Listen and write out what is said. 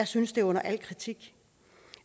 synes det er under al kritik